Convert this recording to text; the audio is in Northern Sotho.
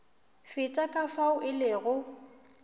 feta ka fao e lego